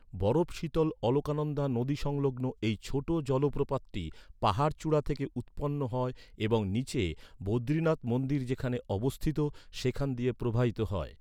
বরফ শীতল অলকানন্দা নদী সংলগ্ন এই ছোট জলপ্রপাতটি পাহাড়চূড়া থেকে উৎপন্ন হয় এবং নীচে বদ্রীনাথ মন্দির যেখানে অবস্থিত, সেখান দিয়ে প্রবাহিত হয়।